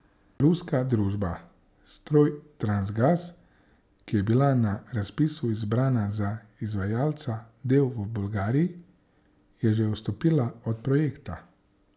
Ruska družba Strojtransgaz, ki je bila na razpisu izbrana za izvajalca del v Bolgariji, je že odstopila od projekta.